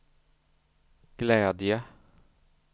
glädje